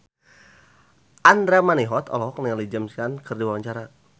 Andra Manihot olohok ningali James Caan keur diwawancara